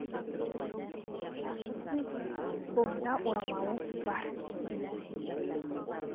шашы су екен қолында орамалы бар